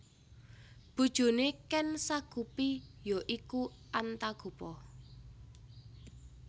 Bojone Ken Sagopi ya iku Antagopa